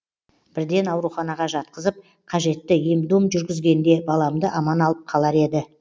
бірден ауруханаға жатқызып қажетті ем дом жүргізгенде баламды аман алып қалар еді